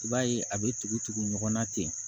I b'a ye a bɛ tugu tugu ɲɔgɔn na ten